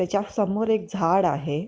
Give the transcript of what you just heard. त्याच्या समोर एक झाड आहे.